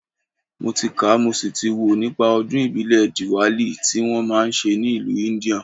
Mo ti kà mo sì ti wò nípa Ọdún ìbílẹ̀ DIWALI tí wọ́n máa ń ṣe ní ìlú India